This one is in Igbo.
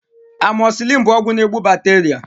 Amoxicillin bụ ọgwụ na egbu bacteria